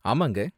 ஆமாங்க.